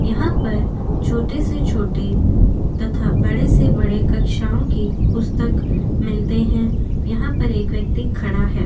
यहा पर छोटे से छोटे तथा बड़े से बड़े कक्षावो के पुस्तक मिलते है यहा पर एक व्यक्ति खड़ा है।